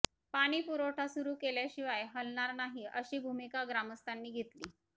पाणीपुरवठा सुरू केल्याशिवाय हलणार नाही अशी भुमिका ग्रामस्थांनी घेतली